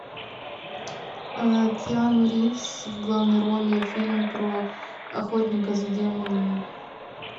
киану ривз в главной роли фильм про охотника за демонами